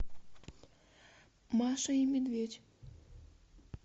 маша и медведь